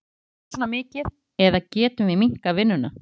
Þurfum við að vinna svona mikið eða getum við minnkað vinnuna?